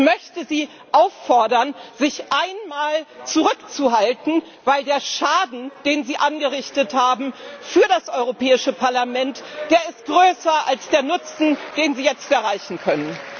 Ich möchte Sie auffordern, sich einmal zurückzuhalten, weil der Schaden, den Sie angerichtet haben, für das Europäische Parlament größer ist als der Nutzen, den Sie jetzt erreichen können.